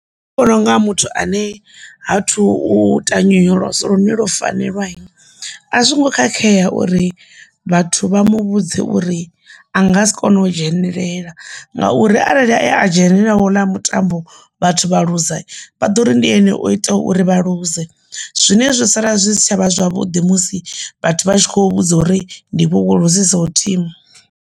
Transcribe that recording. Nṋe ndi vhona unga muthu ane ha thu ita nyonyoloso lune lo fanelwa a zwongo khakhea uri vhathu vha mu vhudze uri a nga si kone u dzhenelela ngauri arali ndi a dzhenelela houḽa mutambo vhathu vha ḽuze vha ḓo uri ndi ene u ita uri vha ḽuze, zwine zwi sala zwi si tshavha zwavhuḓi musi vhathu vha tshi khou vhudza uri ndi iwe wo luzisaho thimu.